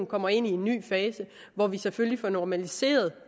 kommer ind i en ny fase hvor vi selvfølgelig får normaliseret